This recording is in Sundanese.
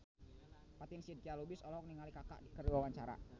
Fatin Shidqia Lubis olohok ningali Kaka keur diwawancara